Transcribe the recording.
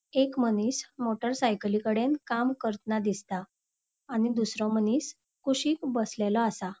एक मनिस मोटर साइकलीकड़ेन काम करतन दिसता आणि दूसरों मनिस कुशिक बसलेलो आसा.